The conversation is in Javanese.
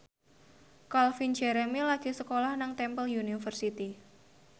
Calvin Jeremy lagi sekolah nang Temple University